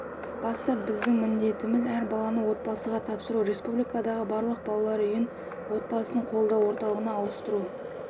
басты біздің міндетіміз әр баланы отбасыға тапсыру республикадағы барлық балалар үйін отбасын қолдау орталығына ауыстыру